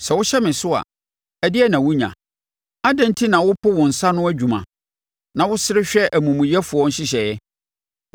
Sɛ wohyɛ me so a, ɛdeɛn na wonya? Adɛn enti na wopo wo nsa ano adwuma na wosere hwɛ amumuyɛfoɔ nhyehyɛeɛ?